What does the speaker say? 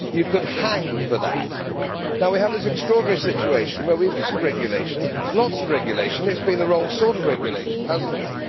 You could hang for it. We have this extraordinary situation where we have had regulation lots of regulation which has been the wrong sort of regulation, has it not?